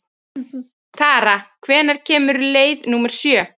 Tara, hvenær kemur leið númer sjö?